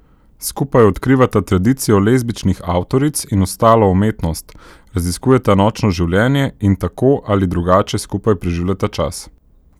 Skupaj odkrivata tradicijo lezbičnih avtoric in ostalo umetnost, raziskujeta nočno življenje in tako ali drugače skupaj preživljata čas.